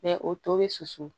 o to bɛ susu